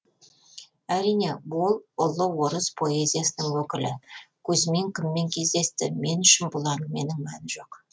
әрине ол ұлы орыс поэзиясының өкілі кузьмин кіммен кездесті мен үшін бұл әңгіменің мәні жоқ